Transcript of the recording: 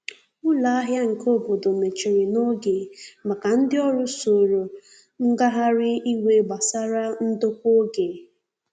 Ụlọ ahia nke obodo mechiri n'oge maka ndi ọrụ soro ngahari iwe gbasara ndokwa oge.